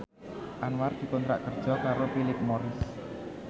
Anwar dikontrak kerja karo Philip Morris